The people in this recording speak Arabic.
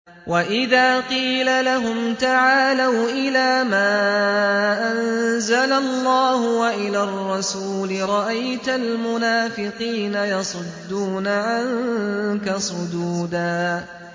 وَإِذَا قِيلَ لَهُمْ تَعَالَوْا إِلَىٰ مَا أَنزَلَ اللَّهُ وَإِلَى الرَّسُولِ رَأَيْتَ الْمُنَافِقِينَ يَصُدُّونَ عَنكَ صُدُودًا